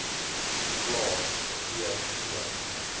plae t o